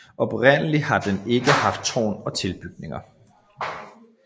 Oprindeligt har den ikke haft tårn og tilbygninger